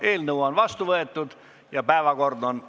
Eelnõu on otsusena vastu võetud ja päevakord on ammendatud.